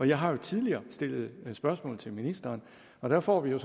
jeg har jo tidligere stillet spørgsmål til ministeren og der får vi jo